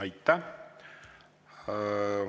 Aitäh!